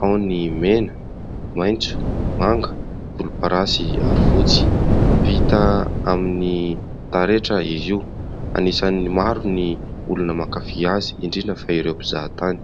Ao ny mena, maitso, manga, volomparasy ary fotsy. Vita amin'ny taretra izy io. Anisan'ny maro ny olona mankafỳ azy, indrindra fa ireo mpizahatany.